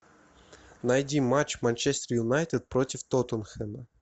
найди матч манчестер юнайтед против тоттенхэма